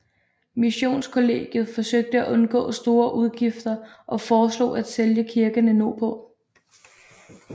Missionskollegiet forsøgte at undgå store udgifter og foreslog at sælge kirkerne nordpå